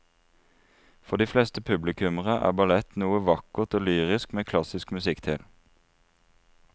For de fleste publikummere er ballett noe vakkert og lyrisk med klassisk musikk til.